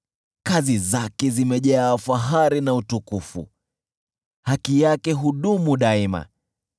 Kazi zake zimejaa fahari na utukufu, haki yake hudumu daima.